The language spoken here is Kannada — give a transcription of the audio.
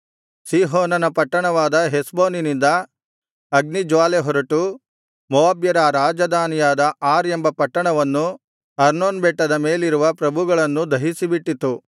ಸೀಹೋನನ ಪಟ್ಟಣವಾದ ಹೆಷ್ಬೋನಿನಿಂದ ಅಗ್ನಿ ಜ್ವಾಲೆಹೊರಟು ಮೋವಾಬ್ಯರ ರಾಜಧಾನಿಯಾದ ಆರ್ ಎಂಬ ಪಟ್ಟಣವನ್ನೂ ಅರ್ನೋನ್ ಬೆಟ್ಟದ ಮೇಲಿರುವ ಪ್ರಭುಗಳನ್ನು ದಹಿಸಿಬಿಟ್ಟಿತು